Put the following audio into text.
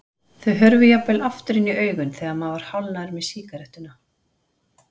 Þau hurfu jafnvel aftur inn í augun þegar maður var hálfnaður með sígarettuna.